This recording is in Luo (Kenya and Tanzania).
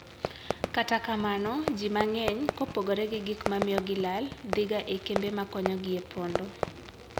Kata kamano, ji mang'eny, kopogore gi gik mamiyo gilal, dhiga e kembe ma konyo gi e pondo.